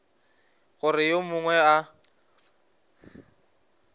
gore ge yo mongwe a